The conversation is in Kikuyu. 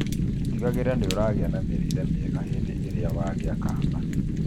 Tigagĩrĩra nĩũragĩa na mĩrĩre mĩega hĩndĩ ĩrĩa wagĩa kana